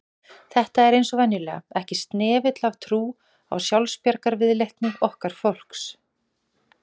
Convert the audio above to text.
Það er eins og venjulega, ekki snefill af trú á sjálfsbjargarviðleitni okkar fólks